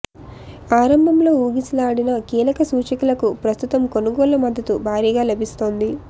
ఆరంభంలో ఊగిసలాడిన కీలక సూచీలకు ప్రస్తుతం కొనుగోళ్ల మద్దతు భారీగా లభిస్తోంది